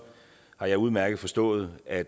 har jeg udmærket forstået at